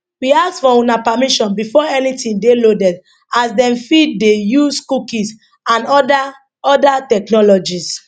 we ask for una permission before anytin dey loaded as dem fit dey use cookies and oda oda technologies